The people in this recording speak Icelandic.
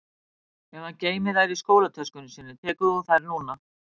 Ef hann geymir þær í skólatöskunni sinni tekur þú þær núna